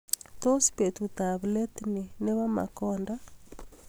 Tos betut ab let ni nebo makonda